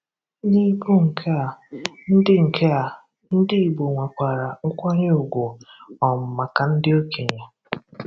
N’ịbụ nke a, ndị nke a, ndị Igbo nwekwara nkwànyè ùgwù um maka ndị okenye.